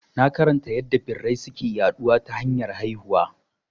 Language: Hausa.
Na karanta yadda birai suke yaɗuwa ta hanyar haihuwa